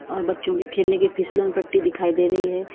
अ बच्चों के खेलने के पिसलन पट्टी दिखाई दे रही है।